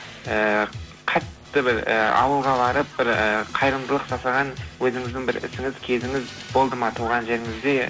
ііі қатты бір і ауылға барып бір і қайырымдылық жасаған өзіңіздің бір ісіңіз кезіңіз болды ма туған жеріңізде